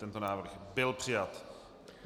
Tento návrh byl přijat.